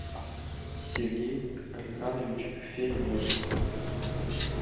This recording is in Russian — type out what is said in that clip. сергей алиханович фенев